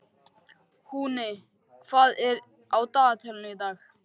Húni, hvað er á dagatalinu í dag?